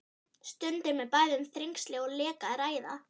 Stundum er bæði um þrengsli og leka að ræða.